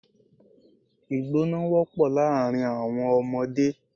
Ìgbọná wọ́pọ̀ láàrin àwọn ọmọdé.